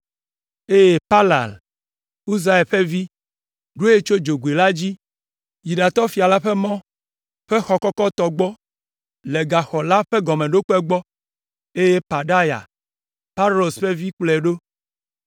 eye Palal, Uzai ƒe vi, ɖoe tso dzogoe la dzi yi ɖatɔ fia la ƒe mɔ ƒe xɔ kɔkɔtɔ gbɔ le gaxɔ la ƒe gɔmeɖokpe gbɔ, eye Pedaya, Paros ƒe vi kplɔe ɖo.